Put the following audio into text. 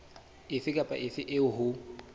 efe kapa efe eo ho